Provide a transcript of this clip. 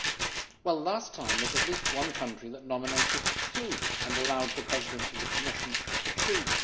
Last time, however, there was at least one country which nominated two and allowed the President of the Commission to choose.